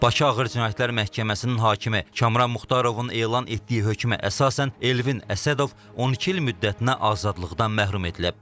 Bakı Ağır Cinayətlər Məhkəməsinin hakimi Kamran Muxtarovun elan etdiyi hökmə əsasən Elvin Əsədov 12 il müddətinə azadlıqdan məhrum edilib.